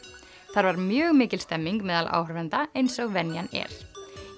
þar var mjög mikil stemning meðal áhorfenda eins og venjan er